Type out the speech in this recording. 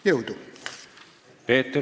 Jõudu!